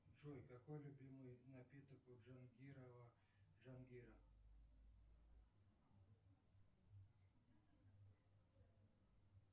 джой какой любимый напиток у джангирова джангира